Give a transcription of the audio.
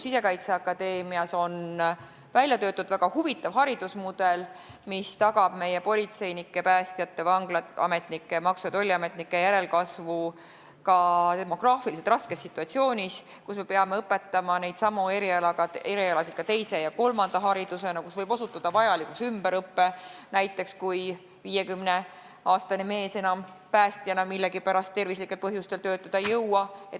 Sisekaitseakadeemias on välja töötatud väga huvitav haridusmudel, mis tagab meie politseinike, päästjate, vanglaametnike, maksu- ja tolliametnike järelkasvu ka demograafiliselt raskes situatsioonis, kus me peame õpetama neidsamu erialasid ka teise ja kolmanda erialana ning kus võib osutuda vajalikuks ümberõpe .